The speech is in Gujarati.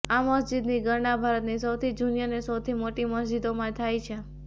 આ મસ્જિદની ગણના ભારતની સૌથી જૂની અને સૌથી મોટી મસ્જિદોમાં થાય છે